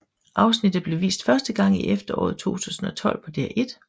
Afsnittene blev vist første gang i efteråret 2012 på DR1